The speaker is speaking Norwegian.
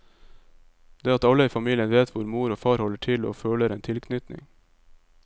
Det at alle i familien vet hvor mor og far holder til og føler en tilknytning.